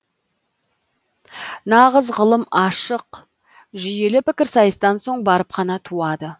нағыз ғылым ашық жүйелі пікір сайыстан соң барып қана туады